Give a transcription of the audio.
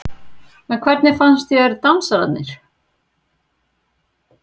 Elín Margrét Böðvarsdóttir: En hvernig fannst þér dansararnir?